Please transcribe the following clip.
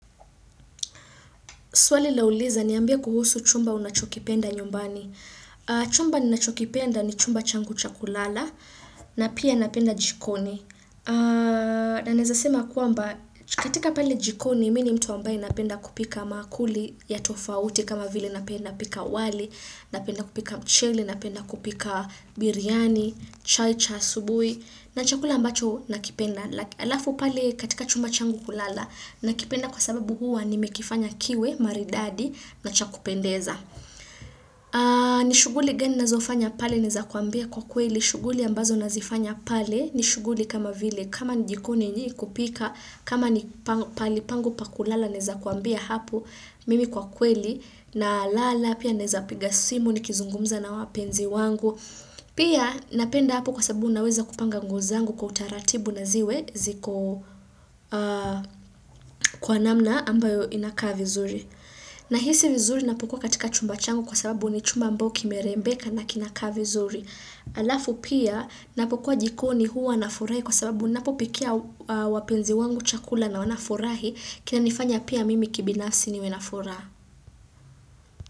Swali la uliza niambie kuhusu chumba unachokipenda nyumbani. Chumba ninachokipenda ni chumba changu cha kulala na pia napenda jikoni. Na naeza sema kwamba katika pale jikoni mini mtu ambaye napenda kupika maakuli ya tofauti kama vile napenda pika wali, napenda kupika mchele, napenda kupika biryani, chai cha asubui na chakula ambacho nakipenda. Alafu pale katika chumba changu kulala na kipenda kwa sababu huwa ni mekifanya kiwe maridadi na cha kupendeza ni shuguli gani nazofanya pale naeza kuambia kwa kweli shuguli ambazo nazifanya pale ni shuguli kama vile kama ni jikoni ni kupika kama ni pahali pangu pakulala naeza kuambia hapo mimi kwa kweli na lala pia naeza piga simu ni kizungumza na wapenzi wangu pia napenda hapo kwa sababu naweza kupanga nguo zangu kwa utaratibu na ziwe ziko kwa namna ambayo inakaa vizuri. Na hisi vizuri napokua katika chumba changu kwa sababu ni chumba ambao kimerembeka na kinakaa vizuri. Alafu pia napokuwa jikoni huwa nafurahi kwa sababu napopikia wapenzi wangu chakula na wanafurahi kinanifanya pia mimi kibinafsi ni we na furaha.